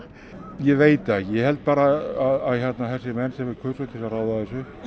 ég veit það ég held bara að þessir menn sem við kusum til að ráða þessu